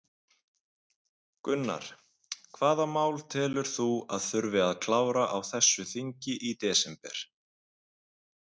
Gunnar: Hvaða mál telur þú að þurfi að klára á þessu þingi í desember?